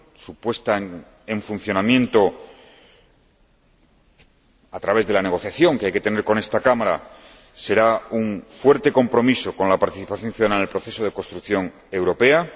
su puesta en funcionamiento, a través de la negociación que hay que tener con esta Cámara, será un fuerte compromiso con la participación ciudadana en el proceso de construcción europea.